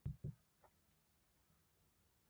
Þóra: Og þú ert kominn aftur á kunnuglegar slóðir?